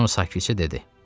Sonra sakitcə dedi: